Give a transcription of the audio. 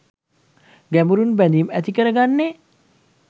ගැඹුරින් බැඳීම් ඇති කරගන්නේ